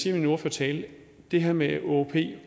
i min ordførertale kan det her med